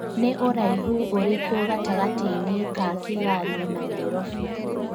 ni ũraĩhu ũrĩkũ gatangatĩ-inĩ ka kigali na Nairobi